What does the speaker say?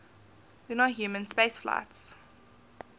lunar human spaceflights